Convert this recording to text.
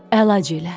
Əlac elə.